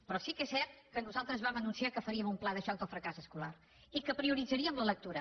però sí que és cert que nosaltres vam anunciar que faríem un pla de xoc del fracàs escolar i que prioritzaríem la lectura